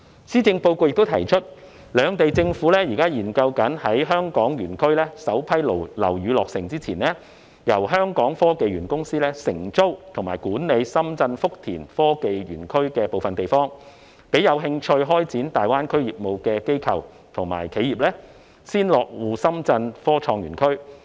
施政報告亦提出，兩地政府現時正研究在香港園區首批樓宇落成前，由香港科技園公司承租及管理深圳福田科創園區的部分地方，讓有興趣開展大灣區業務的機構和企業先落戶深圳科創園區。